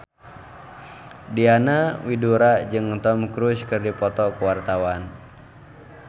Diana Widoera jeung Tom Cruise keur dipoto ku wartawan